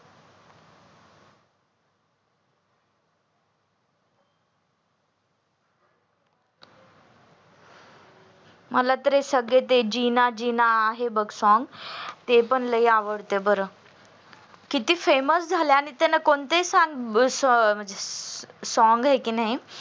मला तर सगळे ते जिना जिना आहे बघ song ते पण लई आवडत बर किती famous झाले आणि त्याला कोणते ही song आहे की नाही